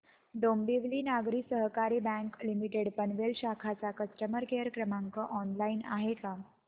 डोंबिवली नागरी सहकारी bank limited Panvel शाखा चा कस्टमर केअर क्रमांक ऑनलाइन आहे का